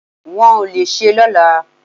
Wọ́n ò le ṣé lọ́la